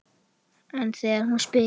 En þegar hún spyr